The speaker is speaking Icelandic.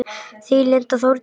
Þín Linda Þórdís.